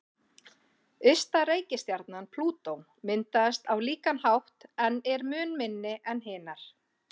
Ysta reikistjarnan, Plútó, myndaðist á líkan hátt en er mun minni en hinar.